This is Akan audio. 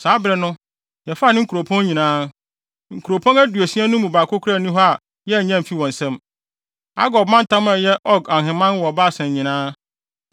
Saa bere no, yɛfaa ne nkuropɔn nyinaa. Nkuropɔn aduosia no mu baako koraa nni hɔ a yɛannye amfi wɔn nsam. Argob mantam a ɛyɛ Og ahemman wɔ Basan nyinaa.